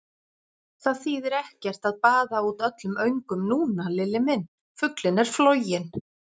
Það þýðir ekkert að baða út öllum öngum núna, Lilli minn, fuglinn er floginn!